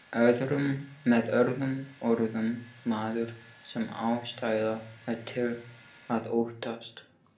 Með öðrum orðum, maður sem ástæða er til að óttast.